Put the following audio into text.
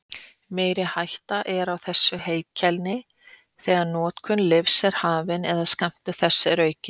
Meiri hætta er á þessu heilkenni þegar notkun lyfs er hafin eða skammtur þess aukinn.